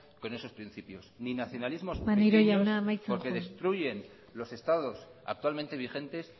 con esos principios ni nacionalismos pequeños maneiro jauna amaitzen joan porque destruyen los estados actualmente vigentes